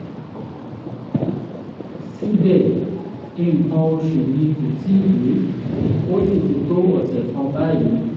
síbẹ̀ nǹkan oṣù mi ò tíì dé ó sì ti tó ọ̀sẹ̀ kan báyìí